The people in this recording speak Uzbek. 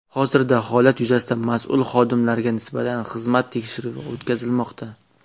Hozirda holat yuzasidan mas’ul xodimlarga nisbatan xizmat tekshiruvi o‘tkazilmoqda.